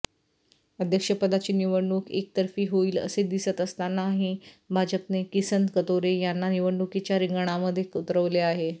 अध्यक्षपदाची निवडणूक एकतर्फी होईल असे दिसत असतानाही भाजपने किसन कथोरे यांना निवडणुकीच्या रिंगणामध्ये उतरवले आहे